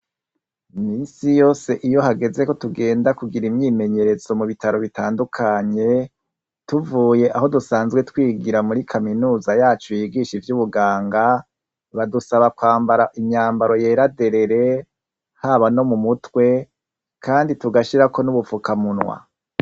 misi yose iyo hageze ko tugenda kugira imyimenyerezo mu bitaro bitandukanye tuvuye aho dusanzwe twigira muri kaminuza yacu yigisha ivy'ubuganga badusaba kwambara imyambaro yeraderere haba no mu mutwe kandi tugashira ko n'ubufukamunwa